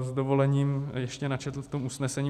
s dovolením ještě načetl v tom usnesení.